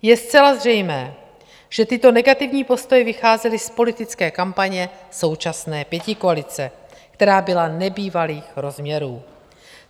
Je zcela zřejmé, že tyto negativní postoje vycházely z politické kampaně současné pětikoalice, která byla nebývalých rozměrů.